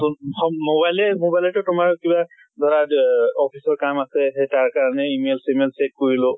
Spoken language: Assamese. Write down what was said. mobile এ mobile তে তোমাৰ কিবা ধৰা এহ office ৰ কাম আছে। সেই তাৰ কাৰণে email চেমাইল check কৰিলো।